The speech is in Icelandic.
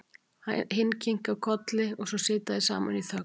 Hinn kinkar þögull kolli og svo sitja þeir saman í þögn.